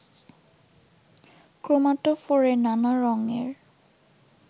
ক্রোমাটোফোরে নানা রঙের